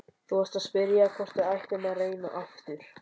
Þú varst að spyrja hvort við ættum að reyna aftur.